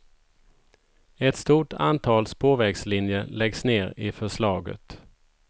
Ett stort antal spårvägslinjer läggs ner i förslaget.